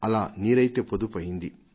అలా నీరైతే పొదుపు అయ్యింది